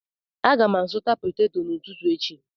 Aga m azụta potato n'ụtụtụ echi